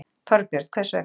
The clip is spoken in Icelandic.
Þorbjörn: Hvers vegna?